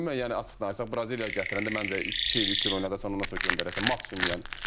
Ümumiyyətlə yəni açıq danışsaq, Braziliyanı gətirəndə məncə iki il, üç il oynadassan, ondan sonra göndərəsən maksimum yəni.